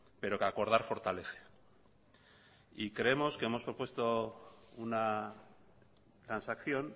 pero que acordar fortalece y creemos que hemos propuesto una transacción